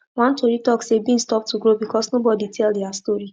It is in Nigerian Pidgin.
one tori talk say beans stop to grow because nobody tell their story